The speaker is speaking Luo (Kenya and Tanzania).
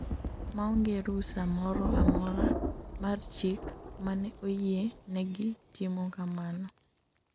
maonge rusa moro amora mar chik mane oyie negi timo kamano